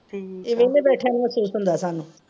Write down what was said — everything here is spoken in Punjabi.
ਠੀਕ ਆ। ਇਹ ਵੇਹਲੇ ਬੈਠੀਆਂ ਨੂੰ ਮਹਿਸੂਸ ਹੁੰਦਾ ਸਾਨੂੰ।